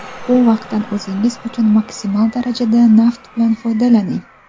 Bu vaqtdan o‘zingiz uchun maksimal darajada naf bilan foydalaning!.